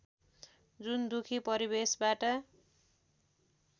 जुन दुखी परिवेशबाट